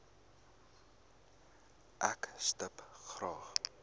ek stip graag